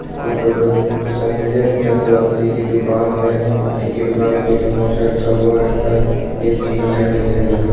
ये प्रोफेसर संजय चंद्र वंसी की दुकान है इन की दुकान पे एक अंगोछा रखा हुआ है तथा यह जीना चढ़ने की जगह है।